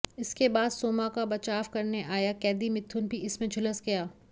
इसके बाद सोमा का बचाव करने आया कैदी मिथुन भी इसमें झुलस गया